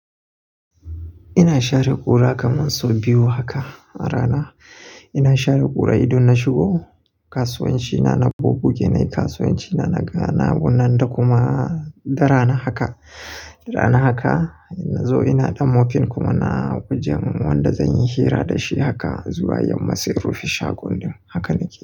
Ina share gura kaman sau biyu haka a rana. Ina share gura idon na shigo kasuwanci na, na bugu genai kasuwanci na, na gana gunan da kuma dara na haka, dara na haka. Na zo ina ɗan mopin kuma na wojen wanda zan yi hira da shi haka zuwa yamma sai rufi shagon ɗin haka nake.